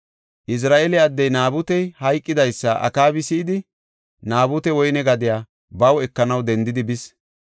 Izira7eele addey Naabutey hayqidaysa Akaabi si7idi, Naabute woyne gadiya baw ekanaw dendidi bis.